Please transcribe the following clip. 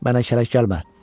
Mənə şərak gəlmə.